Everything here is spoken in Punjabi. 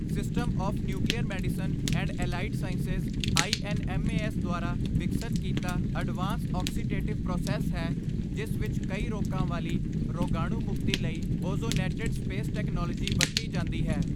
System of nuclear medicine and allied sciences INMAS ਦੁਆਰਾ ਵਿਕਸਤ ਕੀਤਾ, ਅਡਵਾਂਸ ਔਕਸੀਟੇਟਿਵ ਪ੍ਰੋਸੈੱਸ ਹੈ ਜਿਸ ਵਿੱਚ ਕਈ ਰੋਕਾਂ ਵਾਲੀ ਰੋਗਾਣੂ ਮੁਕਤੀ ਲਈ ਓਜ਼ੋਨੈਟਡ ਸਪੇਸ ਟੈਕਨੋਲੋਜੀ ਵਰਤੀ ਜਾਂਦੀ ਹੈ।